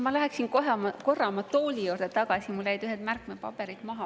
Ma läheksin korra oma tooli juurde tagasi, mul jäid mõned märkmepaberid maha.